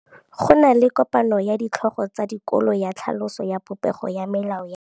Go na le kopanô ya ditlhogo tsa dikolo ya tlhaloso ya popêgô ya melao ya dikolo.